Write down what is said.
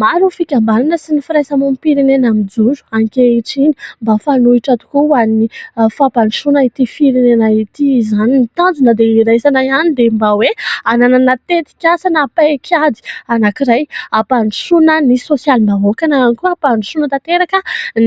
Maro ny fikambanana sy ny firaisamonim-pirenena mijoro ankehitriny mba fanohitra tokoa ho an'ny fampandrosoana ity firenena ity izany. Ny tanjona dia iraisana ihany dia mba hoe hananana teti-kasa na paikady anankiray ampandrosoana ny sosialim-bahoaka na ihany koa hampandosoana tanteraka